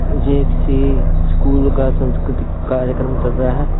ये किसी स्कूल का संस्कृतिक कार्यक्रम चल रहा है।